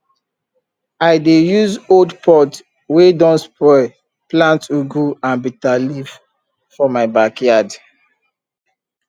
i dey use old pot wey don spoil plant ugu and bitterleaf for my backyard